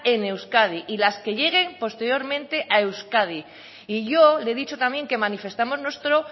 en euskadi y las que lleguen posteriormente a euskadi y yo le he dicho también que manifestamos nuestro